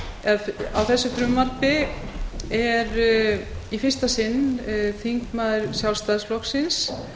og á þessu frumvarpi er í fyrsta sinn þingmaður sjálfstæðisflokksins